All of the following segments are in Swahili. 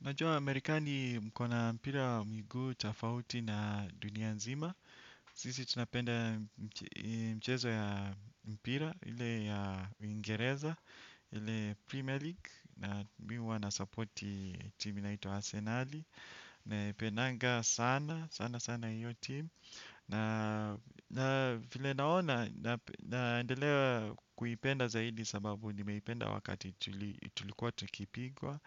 Najua Amerikani mko na mpira wa miguu tofauti na dunia nzima. Sisi tunapenda mchezo ya mpira, ili ya uingereza, ile Premier League. Na mi huwa nasupporti timu inaitwa Arsenali. Naipendanga sana, sana sana hiyo timu. Na vile naona, naendelea kuipenda zaidi sababu nimeipenda wakati tuli tulikuwa tukipigwa.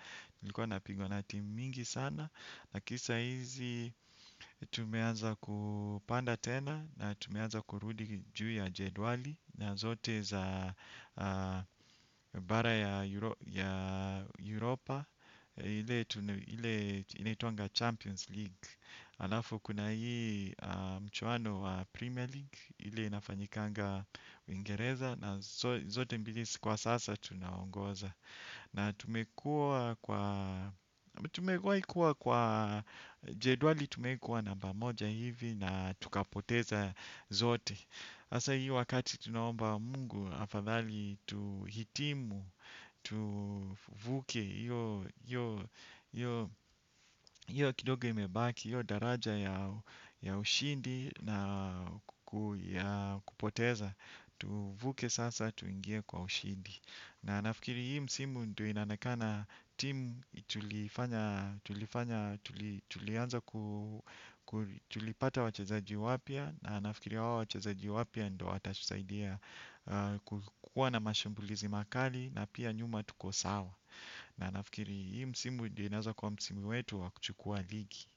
Lakini saa hizi tumeanza kupanda tena na tumeanza kurudi juu ya jedwali na zote za bara ya Europa ile inaitwanga Champions League. Alafu kuna hii mchuano wa Premier League ile inafanyikanga uingereza na zote mbili kwa sasa tunaongoza. Na tumekuwa kwa jedwali tumewahi kuwa namba moja hivi na tukapoteza zote. Sasa hii wakati tunaomba mungu afadhali tuhitimu, tuvuke iyo kidogo imebaki, iyo daraja ya ushindi na kupoteza. Tuvuke sasa tuingie kwa ushindi. Na nafikiri hii msimu ndo inaonekana timu tulianza ku tulipata wachezaji wapya nafikiri wao wachazaji wapya ndo watatusaidia kukuwa na mashambulizi makali na pia nyuma tuko sawa. Na nafikiri hii msimu ndo inaeza kwa msimu wetu wa kuchukua ligi.